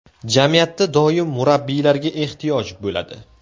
Jamiyatda doim murabbiylarga ehtiyoj bo‘ladi.